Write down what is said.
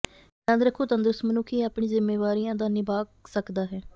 ਯਾਦ ਰੱਖੋ ਤੰਦਰੁਸਤ ਮਨੁੱਖ ਹੀ ਆਪਣੀ ਜ਼ਿੰਮੇਵਾਰੀਆਂ ਦਾ ਨਿਭਾ ਸਕਦਾ ਹੈ